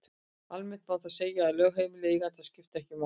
Almennt má þó segja að lögheimili eiganda skipti ekki máli.